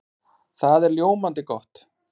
Það er ljómandi gott!